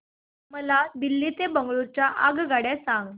मला दिल्ली ते बंगळूरू च्या आगगाडया सांगा